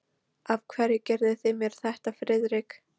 Af hverju gerðuð þið mér þetta, Friðrik?